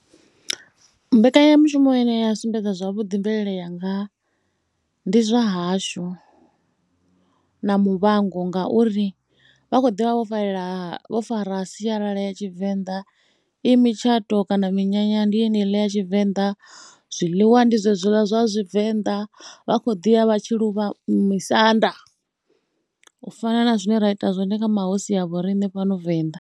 Mbekanyamushumo ine ya sumbedza zwavhuḓi mvelele yanga ndi Zwa hashu na Muvhango ngauri vha khou ḓi vha vho farelela, vho fara sialala ya Tshivenḓa. I mutshato kana minyanya ndi yeneiḽa ya Tshivenḓa, zwiḽiwa ndi zwezwiḽa zwa Tshivenḓa. Vha khou ḓi ya vha tshi ya u luvha misanda u fana na zwine ra ita zwone kha mahosi a vho riṋe fhano Venḓa.